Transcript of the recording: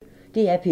DR P1